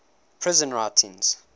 prison writings